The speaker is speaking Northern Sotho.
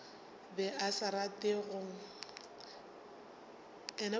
be a sa rate go